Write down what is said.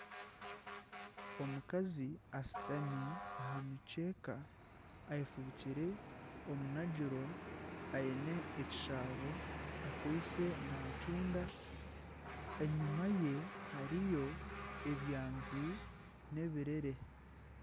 Omukazi ashutami aha mukyeeka ayefubikire omunagiro, aine ekishaabo akwitse nacunda, enyima ye hariyo ebyanzi n'ebirere.